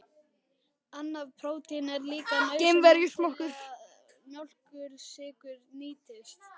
Annað prótín er líka nauðsynlegt til þess að mjólkursykur nýtist.